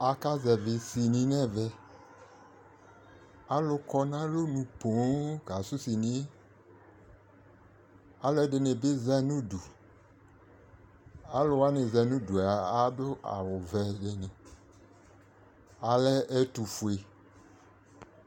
aka zɛvi sini n'ɛvɛ alo kɔ n'alonu ponŋ kasu siniɛ aloɛdini bi za n'udu alowani za n'udu ado awu vɛ dini alɛ ɛtofue